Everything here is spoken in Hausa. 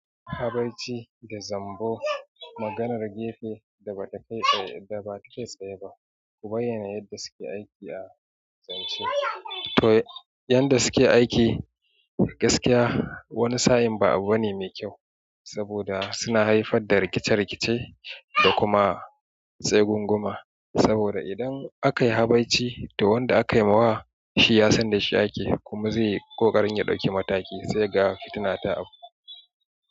Habai ci da zambo maganar gefe da ba ta kai tsaye ba, kubai yana yadda suke aiki a zance. To yanda suke aiki gaskiya wani sa'in ba abu bane mai kyau saboda suna haifar da rikice rikice da kuma tsagunguma. Saboda idan aka yi habaici to wanda aka yi ma wa shi ya san da shi ake kuma zai yi kokarin ya dauki mataki sai ga fitina ta auku.